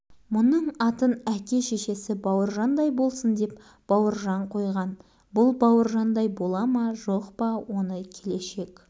әзірге бауыржан бала баланың алдына кім шығыпты бауыржан қандай бала қыстың аяғын ала бере бауыржандар жаңа